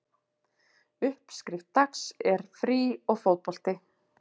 Uppskrift Dags er frí og fótbolti